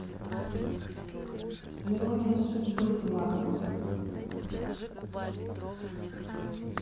ирония судьбы два